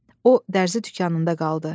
O dərzi dükanında qaldı.